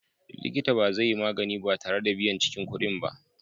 Likita ba zai yi magani ba tare da biyan cikin kuɗin ba.